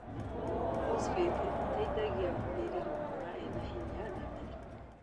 bosborasi ĩteithagia mĩri gũkũra ĩnahinya na mĩrĩku.